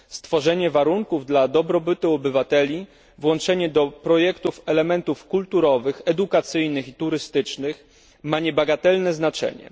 Stworzenie warunków dla dobrobytu obywateli, włączenie do projektów elementów kulturowych, edukacyjnych i turystycznych ma niebagatelne znaczenie.